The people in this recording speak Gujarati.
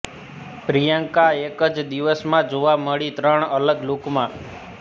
પ્રિયંકા એક જ દિવસ માં જોવા મળી ત્રણ અલગ લૂકમાં